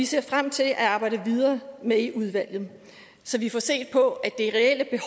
ser frem til at arbejde videre med i udvalget så vi får set på